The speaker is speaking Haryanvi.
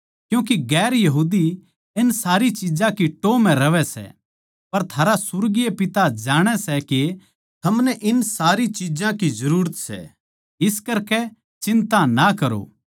क्यूँके गैर यहूदी इन सारी चिज्जां की टोह् म्ह रहवै सै पर थारा सुर्गीय पिता जाणै सै के थमनै इन सारी चिज्जां की जरूरत सै इस करकै चिन्ता ना करो